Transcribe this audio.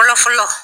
Fɔlɔ fɔlɔ